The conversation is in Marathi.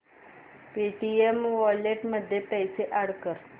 पेटीएम वॉलेट मध्ये पैसे अॅड कर